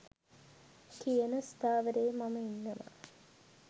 කියන ස්ථාවරයේ මම ඉන්නවා.